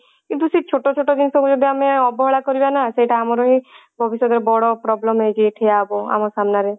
କିନ୍ତୁ ସେ ଛୋଟ ଛୋଟ ଜିନିଷ କୁ ଯଦି ଆମେ ଅବହେଳା କରିବା ନା ସେଇଟା ଆମର ହିଁ ଭବିଷ୍ୟତ ରେ ବଡ problem ହେଇକି ଠିଆ ହବ ଆମ ସାମ୍ନା ରେ